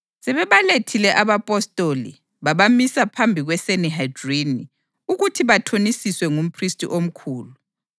Sebebalethile abapostoli, babamisa phambi kweSanihedrini ukuthi bathonisiswe ngumphristi omkhulu.